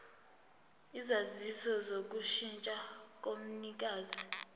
isaziso sokushintsha komnikazi